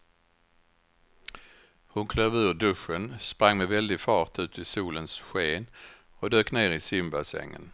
Hon klev ur duschen, sprang med väldig fart ut i solens sken och dök ner i simbassängen.